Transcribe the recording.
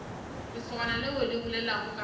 lesogana leo le bolelago ka